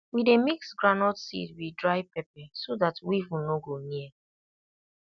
we dey mix groundnut seed with dry pepper so that weevil no go near